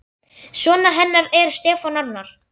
Sonur hennar er Stefán Arnar.